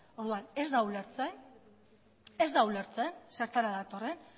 orduan ez da ulertzen zertara datorren